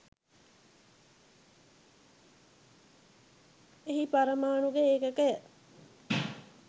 එහි පරමාණුක ඒකකය